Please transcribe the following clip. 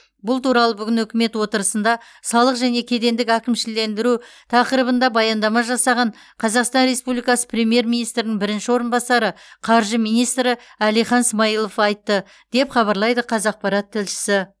бұл туралы бүгін үкімет отырысында салық және кедендік әкімшілендіру тақырыбында баяндама жасаған қазақстан республикасы премьер министрінің бірінші орынбасары қаржы министрі әлихан смайылов айтты деп хабарлайды қазақпарат тілшісі